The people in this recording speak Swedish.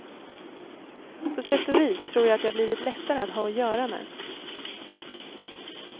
På sätt och vis tror jag att jag blivit lättare att ha att göra med.